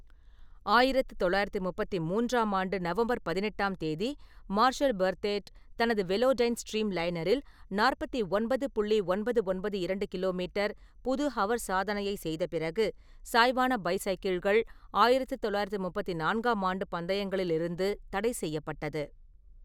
ஆயிரத்து தொள்ளாயிரத்து முப்பத்து மூன்றாம் ஆண்டு நவம்பர் பதினெட்டாம் தேதி மார்ஷல் பெர்த்தேட் தனது வெலோடைன் ஸ்ட்ரீம்லைனரில் நாற்பத்தி ஒன்பது புள்ளி ஒன்பது ஒன்பது இரண்டு கி. மீ. புது ஹவர் சாதனையை செய்த பிறகு, சாய்வான பைசைக்கிள்கள் ஆயிரத்து தொள்ளாயிரத்து முப்பத்து நான்காம் ஆண்டு பந்தயங்களிலிருந்து தடைசெய்யப்பட்டது.